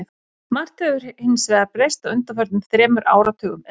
Margt hefur hins vegar breyst á undanförnum þremur áratugum eða svo.